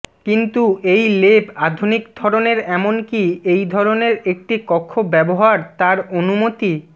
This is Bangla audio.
কিন্তু এই লেপ আধুনিক ধরনের এমনকি এই ধরনের একটি কক্ষ ব্যবহার তার অনুমতি